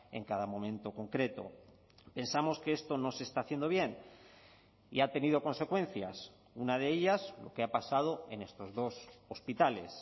en cada momento concreto pensamos que esto no se está haciendo bien y ha tenido consecuencias una de ellas lo que ha pasado en estos dos hospitales